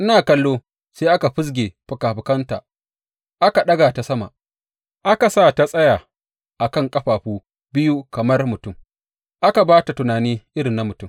Ina kallo, sai aka fizge fikafikanta, aka ɗaga ta sama, aka sa ta tsaya a kan ƙafafu biyu kamar mutum, aka ba ta tunani irin na mutum.